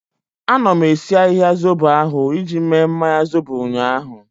Anọ m esi ahịhịa zobo ahu iji mee mmanya zobo ụnyaahụ